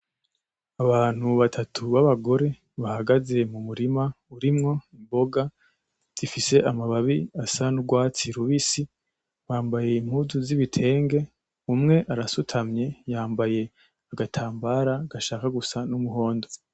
abantu batatu b'abagore bahagaze mu murima urimwo imboga zifise amababi asa n'urwatsi rubisi bambaye impuzu zibitenge umwe ara sutamye, yambaye agatambara gashaka gusa numuhondo.